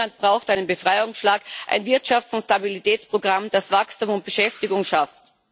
Griechenland braucht einen Befreiungsschlag, ein Wirtschafts und Stabilitätsprogramm, das Wachstum und Beschäftigung schafft.